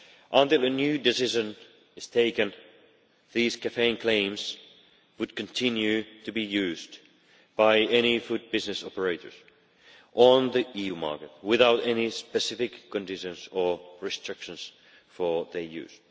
Until a new decision is taken, these caffeine claims would continue to be used by any food business operators on the EU market without any specific conditions or restrictions for their use.